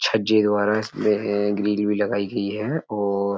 छज्जे द्वारा इसमें है। ग्रील भी लगाई गयी है और --